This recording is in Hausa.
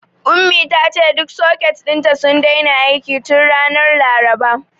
Ummi ta ce duk soket ɗin sun daina aiki tun ranar Laraba.